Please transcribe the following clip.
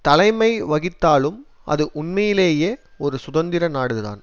தலைமை வகித்தாலும் அது உண்மையிலேயே ஒரு சுதந்திர நாடுதான்